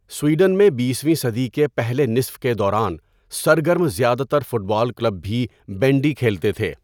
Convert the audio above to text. Sweden میں بیسویں صدی کے پہلے نصف کے دوران سرگرم زیادہ تر فٹ بال کلب بھی بینڈی کھیلتے تھے.